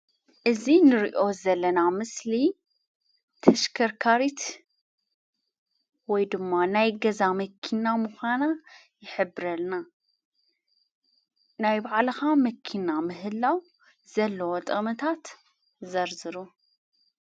እዚ እንርእዮ ዘለና ምስሊ ተሽከርካሪት ወይድማ ናይ ገዛ መኪና ምዃና ይሕብረልና። ናይ ባዕልኻ መኪና ምህላው ዘለዎ ጥቕምታት ዘርዝሩ?